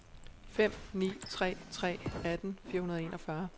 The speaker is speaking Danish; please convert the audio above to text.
fem ni tre tre atten fire hundrede og enogfyrre